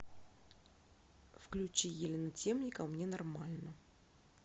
включи елена темникова мне нормально